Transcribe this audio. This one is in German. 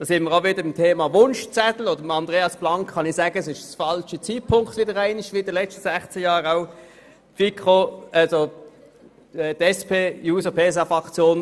Da sind wir auch wieder beim Thema Wunschzettel angelangt, und zuhanden von Grossrat Blank kann ich sagen, dass dies wieder einmal der falsche Zeitpunkt ist, genauso wie während der letzten 16 Jahren.